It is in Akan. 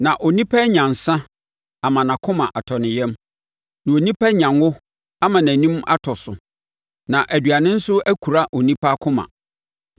na onipa anya nsã ama nʼakoma atɔ ne yam, na onipa anya ngo ama nʼanim atɔ so, na aduane nso akura onipa akoma.